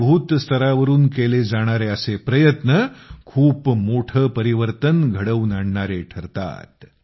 जमिनी स्तरावरून केले जाणारे असे प्रयत्न खूप मोठे परिवर्तन घडवून आणणारे ठरतात